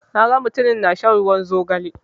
Na ga mutumin ya na shan ruwan zogale